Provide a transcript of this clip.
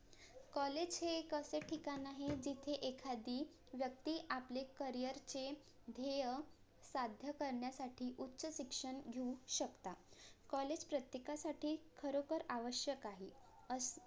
COLLAGE हे एक असे ठिकाण आहे जिथे एखादी व्यक्ती आपले career चे ध्येय साध्य करण्यासाठी उच्च शिक्षण घेऊ शकता COLLAGE प्रत्येकासाठी खरोखर आवश्यक आहे असं